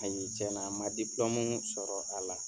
Ayi cɛn na n man dipulɔmu sɔrɔ a la.